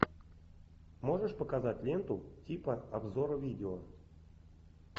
можешь показать ленту типа обзор видео